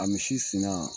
A misi fina